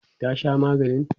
ta Sha maganin?